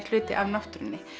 hluti af náttúrunni